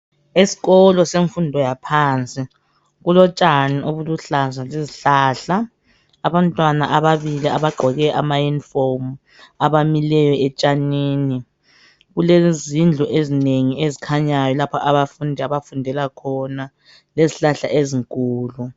Esikolo semfundo yaphansi kulotshani obuluhlaza lezihlahla, abantwana ababili abagqoke amayunifomu abimelyo etshanini kulezindlu ezinengi ezikhnyayo lapho abafundi abafundela khona lezihlahla ezinkulu.